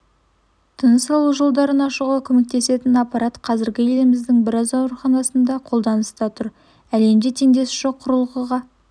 тыныс алу жолдарын ашуға көмектесетін аппарат қазір еліміздің біраз ауруханасында қолданыста тұр әлемде теңдесі жоқ құрылғыға